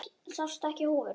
Sástu ekki húfuna?